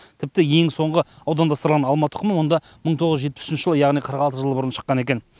тіпті ең соңғы аудандастырылған алма тұқымы мұнда мың тоғыз жүз жетпіс үшінші жылы яғни қырық алты жыл бұрын шыққан екен